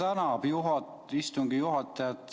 Härra Grünthal tänab istungi juhatajat.